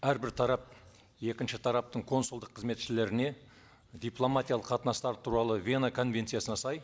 әрбір тарап екінші тараптың консулдық қызметшілеріне дипломатиялық қатынастар туралы вена конвенциясына сай